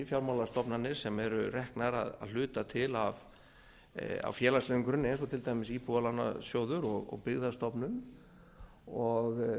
fjármálastofnanir sem eru reknar að hluta til á félagslegum grunni eins og til dæmis íbúðalánasjóður og byggðastofnun og